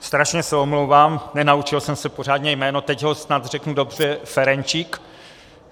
Strašně se omlouvám, nenaučil jsem se pořádně jméno, teď ho snad řeknu dobře - Ferenčik.